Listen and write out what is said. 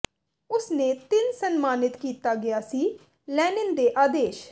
ਉਸ ਨੇ ਤਿੰਨ ਸਨਮਾਨਿਤ ਕੀਤਾ ਗਿਆ ਸੀ ਲੈਨਿਨ ਦੇ ਆਦੇਸ਼